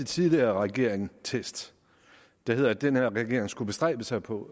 tidligere regering der hedder at den her regering skulle bestræbe sig på